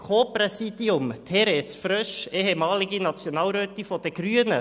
Es ist dies nämlich ein Co-Präsidium mit Therese Frösch, der ehemaligen Nationalrätin der Grünen.